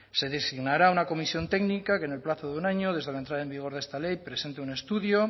se designará una comisión técnica que en el plazo de un año desde la entrada en vigor de esta ley presente un estudio